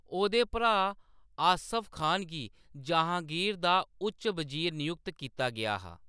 ओह्‌‌‌दे भ्राऽ आसफ खान गी जहांगीर दा उच्च बजीर नयुक्त कीता गेआ हा।